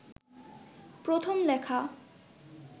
প্রথম লেখা